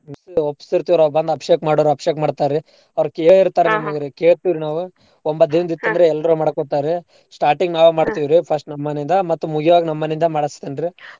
ಓಪಪ್ಸೀರ್ತೇವ ರೀ ಅವ್ರ್ ಬಂದ ಅಬ್ಷೇಕ್ ಮಾಡೋರು ಅಬ್ಷೇಕ್ ಮಾಡ್ತಾರಿ ಅವ್ರ್ ಕೇಳಿ ಇರ್ತಾರ . ಕೇಳ್ತಿವ್ ರೀ ನಾವು ಒಂಬತ್ ದಿನದ್ ಎಲ್ಲರೂ ಮಾಡ್ಕೋತಾರಿ. Starting ನಾವ್ ರೀ first . ನಮ್ ಮನೆಯಿಂದ ಮತ್ತ್ ಮುಗ್ಯಾಗ್ ನಮ್ ಮನಿಯಿಂದ ಮಾಡ್ಸ್ತಿನ್ರೀ.